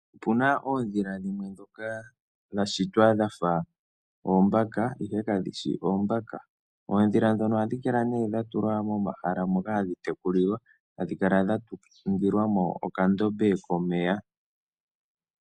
Opu na oondhila dhimwe ndhoka dha shitwa dha fa oombaka, ihe kadhi shi oombaka. Oondhila ndhono ohadhi kala ne dha tulwa momahala moka hadhi tekulilwa, hadhi kala dha ningilwa mo okandombe komeya.